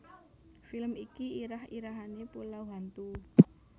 Film iki irah irahane Pulau Hantu